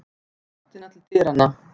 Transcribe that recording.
Í áttina til dyranna.